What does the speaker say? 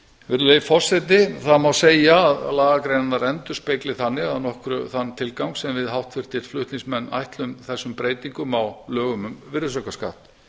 virðulegi forseti það má segja að lagagreinarnar endurspegli þannig að nokkru þann tilgang sem við flutningsmenn ætlum þessum breytingum á lögum um virðisaukaskatt